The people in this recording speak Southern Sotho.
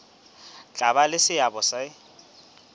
tla ba le seabo se